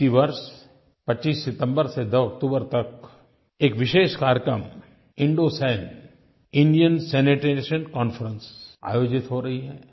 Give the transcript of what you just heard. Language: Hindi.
इसी वर्ष 25 सितम्बर से 2 अक्टूबर तक एक विशेष कार्यक्रम इंडोसन इंडिया सैनिटेशन कॉन्फ्रेंस आयोजित हो रही है